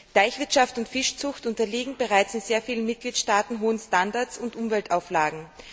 Teichwirtschaft und Fischzucht unterliegen bereits in sehr vielen Mitgliedstaaten hohen Standards und Umweltauflagen.